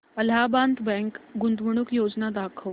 Allahabad bank गुंतवणूक योजना दाखव